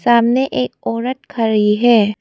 सामने एक औरत खड़ी है।